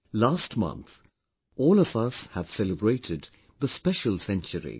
Last month all of us have celebrated the special century